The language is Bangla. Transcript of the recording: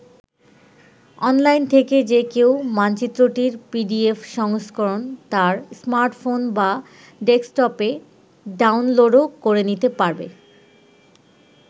অনলাইন থেকে যে কেউ মানচিত্রটির পিডিএফ সংস্করণ তার স্মার্টফোন বা ডেস্কটপে ডাউনলোডও করে নিতে পারবে।